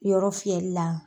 Yɔrɔ fiɲɛli la.